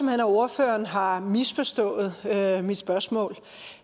at ordføreren har misforstået mit spørgsmål